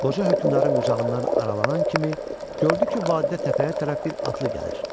Qoca hökmdarın qucağından aralanan kimi gördü ki, vadidə təpəyə tərəf bir atlı gəlir.